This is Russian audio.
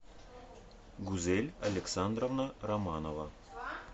гузель александровна романова